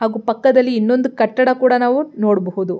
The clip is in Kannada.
ಹಾಗೂ ಪಕ್ಕದಲ್ಲಿ ಇನ್ನೊಂದು ಕಟ್ಟಡವನ್ನು ನಾವು ನೋಡಬಹುದು.